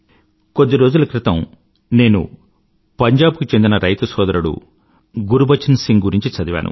కొద్దిరోజుల క్రితం నేను పంజాబ్ కు చెందిన సొదరుడు గురుబచన్ సింగ్ గురించి చదివాను